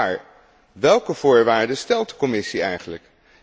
Maar welke voorwaarden stelt de Commissie eigenlijk?